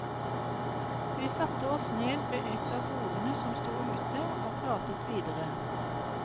Vi satte oss ned ved ett av bordene som stod ute, og pratet videre.